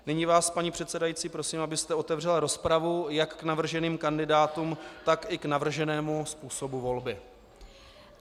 Nyní vás, paní předsedající, prosím, abyste otevřela rozpravu jak k navrženým kandidátům, tak i k navrženému způsobu volby.